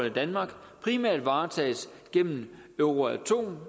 i danmark primært varetages gennem euratom